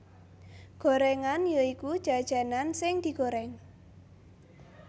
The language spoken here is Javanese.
Gorengan ya iku jajanan sing digoreng